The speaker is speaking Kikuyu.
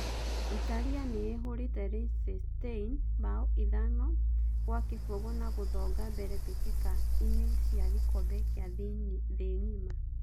Italia niihũrite Liechtenstein bao ithano gwa gibũgũ na gũthonga mbere mbitika ine cia gikombe gia thii ng'ima.